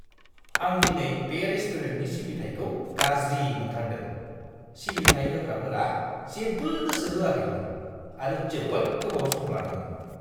आं दिनै बे रेस्टुरेन्टनि सिबिथाइखौ गाज्रि मोनथारदों! सिबिथाय होग्राफोरा जेबो गोसो होआखैमोन आरो जोबोद गोबाव सम लादोंमोन!